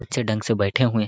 अच्छे ढंग से बैठे हुए--